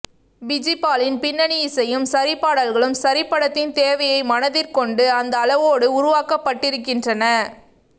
பிஜிபாலின் பின்னணி இசையும் சரி பாடல்களும் சரி படத்தின் தேவையை மனதிற்கொண்டு அந்த அளவோடு உருவாக்கப்பட்டிருக்கின்றன